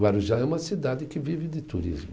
Guarujá é uma cidade que vive de turismo.